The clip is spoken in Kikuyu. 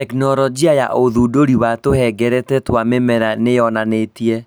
Tekinolonjĩ ya ũndũire wa tũhengereta twa mĩmera nĩĩyonanitie